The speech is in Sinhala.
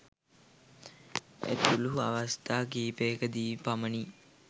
ඇතුළු අවස්ථා කිහිපයකදී පමණි.